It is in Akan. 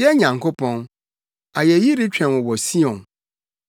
Yɛn Nyankopɔn, ayeyi retwɛn wo wɔ Sion,